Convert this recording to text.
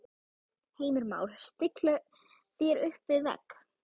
Heimir Már: Stilla þér upp við vegg?